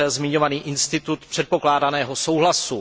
zmiňovaný institut předpokládaného souhlasu.